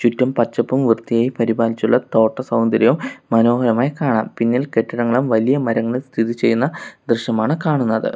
ചുറ്റും പച്ചപ്പും വൃത്തിയായി പരിപാലിച്ചുള്ള തോട്ട സൗന്ദര്യം മനോഹരമായി കാണാം പിന്നിൽ കെട്ടിടങ്ങളും വലിയ മരങ്ങളും സ്ഥിതിചെയ്യുന്ന ദൃശ്യമാണ് കാണുന്നത്.